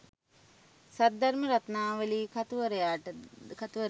Saddharma Ratnavali කතුවරයාද